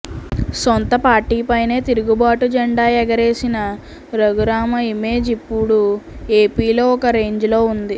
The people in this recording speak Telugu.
సొంత పార్టీపైన్నే తిరుగుబాటు జెండా ఎగరేసిన రఘురామ ఇమేజ్ ఇప్పుడు ఏపీలో ఒక రేంజ్ లో ఉంది